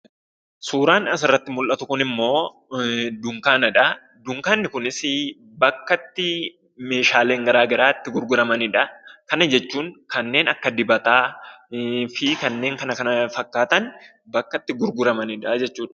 Suuraan asirratti mul'atu kunimmoo dunkaanadha. Dunkaanni kunis bakka itti meeshaaleen garaagaraa itti gurguramanidha. Kana jechuun kanneen akka dibataa fi kanneen kana fakkaatan bakka itti gurguramanidha jechuudha.